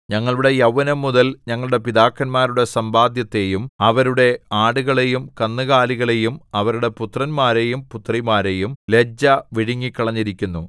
ഞങ്ങളുടെ യൗവനംമുതൽ ഞങ്ങളുടെ പിതാക്കന്മാരുടെ സമ്പാദ്യത്തെയും അവരുടെ ആടുകളെയും കന്നുകാലികളെയും അവരുടെ പുത്രന്മാരെയും പുത്രിമാരെയും ലജ്ജ വിഴുങ്ങിക്കളഞ്ഞിരിക്കുന്നു